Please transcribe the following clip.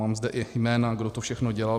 Mám zde i jména, kdo to všechno dělal.